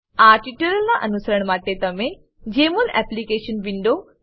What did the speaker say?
આ ટ્યુટોરીયલનાં અનુસરણ માટે તમે જમોલ એપ્લિકેશન વિન્ડો